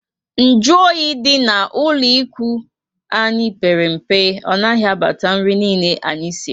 Nju oyi dị ná ụlọ ikwụ anyị pere mpe. Ọ naghị abata nri niile anyị siri